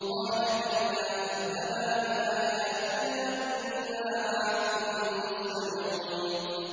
قَالَ كَلَّا ۖ فَاذْهَبَا بِآيَاتِنَا ۖ إِنَّا مَعَكُم مُّسْتَمِعُونَ